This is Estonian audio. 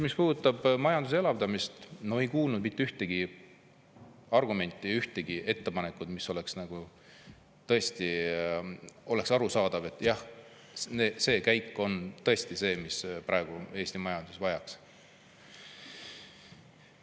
Mis puudutab majanduse elavdamist – no ei kuulnud mitte ühtegi argumenti, ühtegi ettepanekut, mille puhul oleks arusaadav, et jah, see käik on tõesti see, mida Eesti majandus praegu vajaks.